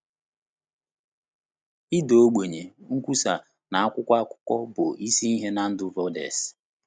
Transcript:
Ịda ogbenye, nkwusa, na akwụkwọ akụkọ bụ isi ihe na ndụ Vaudès.